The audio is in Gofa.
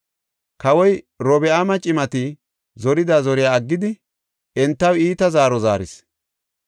Kawoy Robi7aami cimati zorida zoriya aggidi entaw iita zaaro zaaris.